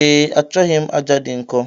Ee, achọghị m aja dị nkọ.